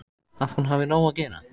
Að hún hafi nóg að gera.